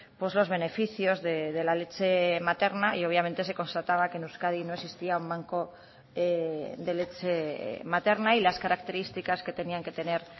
por los beneficios de la leche materna y obviamente se constataba que en euskadi no existía un banco de leche materna y las características que tenían que tener